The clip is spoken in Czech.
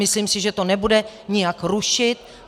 Myslím si, že to nebude nijak rušit.